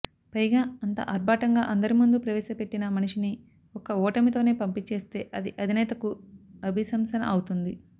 పైగా అంత ఆర్బాటంగా అందరి ముందు ప్రవేశపెట్టిన మనిషిని ఒక్క ఓటమితోనే పంపించేస్తే అది అధినేతకూ అభిశంసన అవుతుంది